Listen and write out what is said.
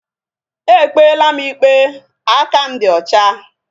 Ekpela m ikpe! Aka m dị ọcha